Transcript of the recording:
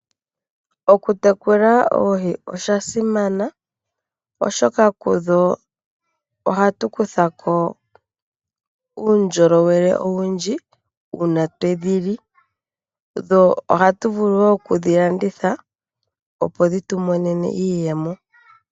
Okutekula oohi osha simana, oshoka kudho ohatu kutha ko uundjolowele owundji uuna twe dhi li. Ohatu vulu wo okudhi landitha, opo dhi tu pe iiyemo.